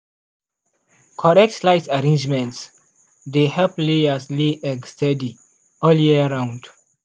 correct light arrangement dey help layers lay egg steady all year round.